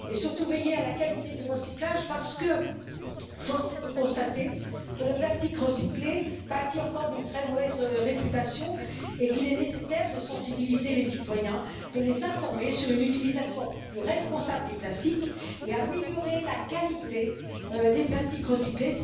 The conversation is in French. et surtout action pour veiller à la qualité du recyclage, parce que force est de constater que le plastique recyclé pâtit encore d'une très mauvaise réputation et qu'il est nécessaire de sensibiliser les citoyens à une utilisation plus responsable des plastiques et d'améliorer la qualité des plastiques recyclés.